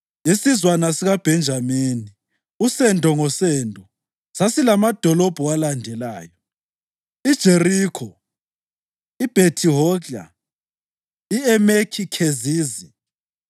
Isizwana sikaBhenjamini, usendo ngosendo sasilamadolobho alandelayo: IJerikho, iBhethi-Hogla, i-Emeki Khezizi,